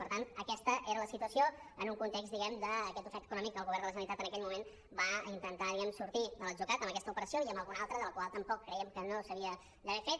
per tant aquesta era la situació en un context diguem ne d’aquest ofec econòmic que el govern de la generalitat en aquell moment va intentar diguem ne sortir de l’atzucac amb aquesta operació i amb alguna altra la qual tampoc creiem que s’havia d’haver fet